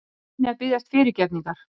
Ég reyni að biðjast fyrirgefningar.